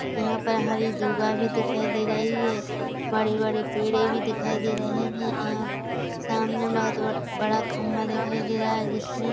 यहाँ पर हरी दुर्वा भी दिखाई दे रही है बड़े-बड़े पेड़े भी दिखाई दे रहें हैं और सामने बहोत बड़ा खंबा दिखाई दे रहा है जिसमें--